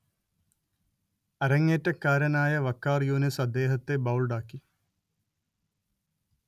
അര‍ങ്ങേറ്റക്കാരനായ വഖാർ യൂനിസ് അദ്ദേഹത്തെ ബൗൾഡാക്കി